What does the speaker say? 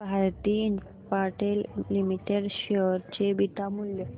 Bharti Infratel limited share चे beta मूल्य